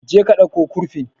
Je ka ɗauko kurfin